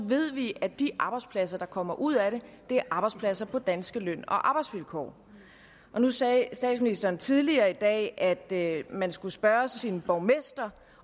ved vi at de arbejdspladser der kommer ud af det er arbejdspladser på danske løn og arbejdsvilkår nu sagde statsministeren tidligere i dag at man skulle spørge sin borgmester